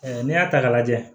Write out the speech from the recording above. n'i y'a ta k'a lajɛ